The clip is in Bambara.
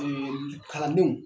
kalandenw